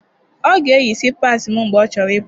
Ọ ga-eyi slipassi m mgbe ọ chọrọ ịpụ.